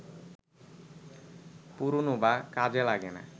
পুরনো বা কাজে লাগে না